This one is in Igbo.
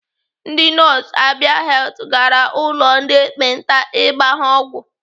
Ndị nọọsụ Abia Health gara ụlọ ndị ekpenta ịgba ha ọgwụ.